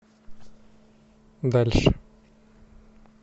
дальше